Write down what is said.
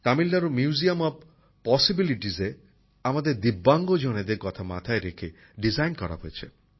তামিলনাড়ুর museum of পসিবিলিটজে আমাদের ভিন্ন ভাবে সক্ষম বন্ধুদের কথা মাথায় রেখে নকশা করা হয়েছে